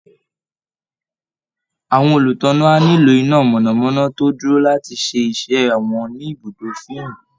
Àwọn olùtánná á nílò iná mọ̀nà-mọ́ná tó dúró láti ṣe iṣẹ́ wọn ní ibùdó fíìmù